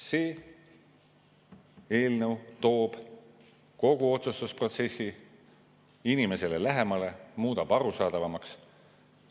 See eelnõu toob kogu otsustusprotsessi inimesele lähemale, muudab arusaadavamaks.